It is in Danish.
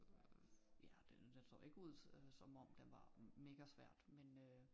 Øh ja den så ikke ud øh som om den var mega svært men øh